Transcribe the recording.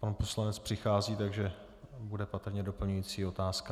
Pan poslanec přichází, takže bude patrně doplňující otázka.